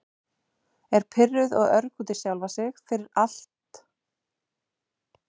Er pirruð og örg út í sjálfa sig fyrir- fyrir allt.